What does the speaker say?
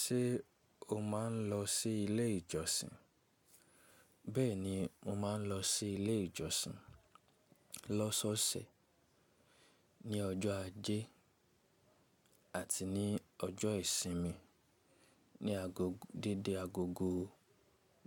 Ṣé o máa ń lọ sí ilé ìjọsìn? Bẹ́ẹ̀ni, mo máa ń lọ sí ilé ìjọsìn lọ́sọọsẹ̀, ní ọjọ́ ajé àti ní ọjọ́ ìsinmi, ní agogo dédé agogo